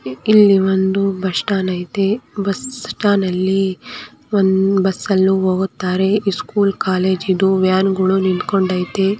ಈಳಿ ಒಂದು bus stand ಐತಿ bus ಅಲ್ಲೂ ಹೋಗುತ್ತಾರೆ ಸ್ಕೂಲ್ ಕಾಲೇಜ್ ಇದು ವ್ಯಾನ್ ನಿಂತ್ಕೊಂಡಿದೆ.